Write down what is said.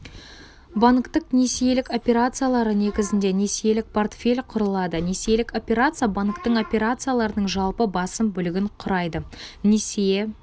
банктік несиелік операциялары негізінде несиелік портфель құрылады несиелік операция банктің операцияларының жалпы басым бөлігін құрайды несие